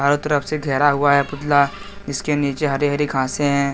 हर तरफ से घेरा हुआ है पुतला इसके नीचे हरी हरी घासें हैं।